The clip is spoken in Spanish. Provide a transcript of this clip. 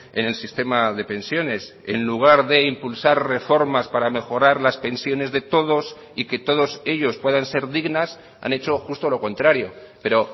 en el sistema de pensiones en lugar de impulsar reformas para mejorar las pensiones de todos y que todos ellos puedan ser dignas han hecho justo lo contrario pero